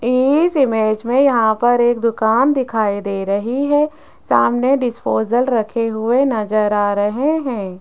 इस इमेज में यहां पर एक दुकान दिखाई दे रही है सामने डिस्पोजल रखे हुए नजर आ रहे हैं।